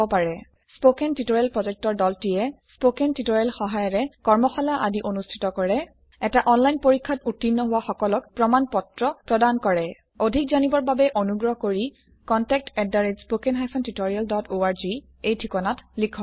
কথন শিক্ষণ প্ৰকল্পৰ দলটিয়ে কথন শিক্ষণ সহায়িকাৰে কৰ্মশালা আদি অনুষ্ঠিত কৰে এটা অনলাইন পৰীক্ষাত উত্তীৰ্ণ হোৱা সকলক প্ৰমাণ পত্ৰ প্ৰদান কৰে অধিক জানিবৰ বাবে অনুগ্ৰহ কৰি contactspoken tutorialorg এই ঠিকনাত লিখক